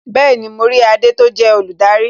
Bẹẹni, mo rí adé tó jẹ́ olùdarí